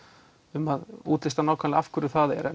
um að útlista nákvæmlega af hverju það er